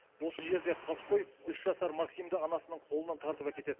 осы жерде қаскөй үш жасар максимді анасының қолынан тартып әкетеді